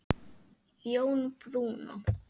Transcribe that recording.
Jón Bruno.